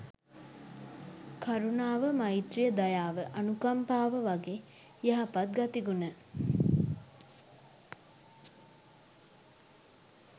කරුණාව, මෛත්‍රිය, දයාව අනුකම්පාව වගේ යහපත් ගතිගුණ